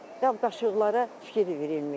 Qab-qaşıqlara fikir verilmir.